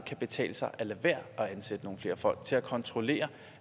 kan betale sig at lade være at ansætte nogle flere folk til at kontrollere